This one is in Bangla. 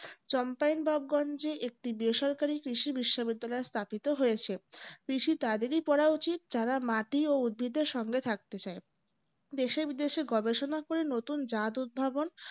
চম্পেন টপ গঞ্জে একটি বেসরকারি কৃষি বিশ্ববিদ্যালয় স্থাপিত হয়েছে কৃষি তাদেরই পড়া উচিত যারা মাটি ও উদ্ভিদের সঙ্গে থাকতে চায় দেশে বিদেশে গবেষণা করে নতুন জাত উদ্ভাবন